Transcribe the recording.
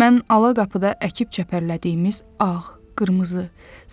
Mən ala qapıda əkib çəpərlədiyimiz ağ, qırmızı,